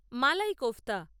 মালাই kofta